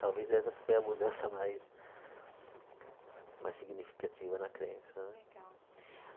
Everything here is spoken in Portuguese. Talvez essa foi a mudança mais mais significativa na crença né. Legal